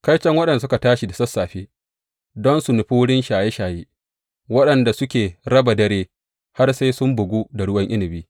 Kaiton waɗanda suke tashi da sassafe don su nufi wurin shaye shaye, waɗanda suke raba dare har sai sun bugu da ruwan inabi.